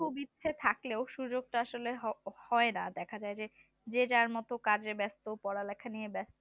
খুব ইচ্ছা থাকলেও সুযোগটা আসলে হয় না দেখা যায় যে যার মতো কাজে ব্যস্ত পড়ালেখা নিয়ে ব্যস্ত